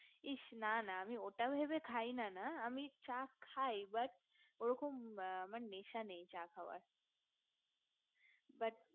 ইস না না ওটা ভেবে খাই না আমি চা খাই but ওরকম আমার নেশা নেই চা খাওয়ার but